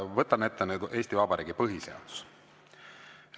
Võtan ette Eesti Vabariigi põhiseaduse.